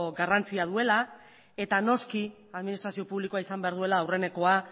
garrantzia duela eta noski administrazio publikoa izan behar duela aurrenekoa